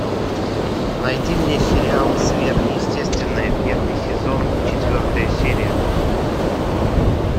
найди мне сериал сверхъестественное первый сезон четвертая серия